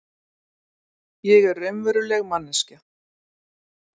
Ég er raunveruleg manneskja.